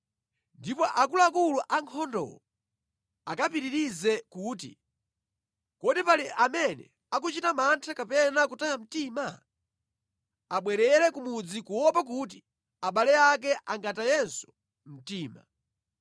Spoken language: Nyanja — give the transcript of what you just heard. Ndipo akuluakulu ankhondowo akapitirize kuti, “Kodi pali amene akuchita mantha kapena kutaya mtima? Abwerere ku mudzi kuopa kuti abale ake angatayenso mtima.”